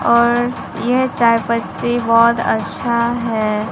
और यह चाय पत्ती बहोत अछा है।